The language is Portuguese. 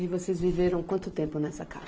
E vocês viveram quanto tempo nessa casa?